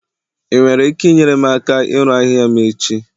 ị nwere ike inyere m aka ịru ahịhịa m echi?